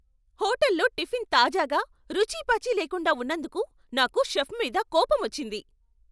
హోటల్లో టిఫిన్ తాజాగా, రుచీపచీ లేకుండా ఉన్నందుకు నాకు షెఫ్ మీద కోపమొచ్చింది.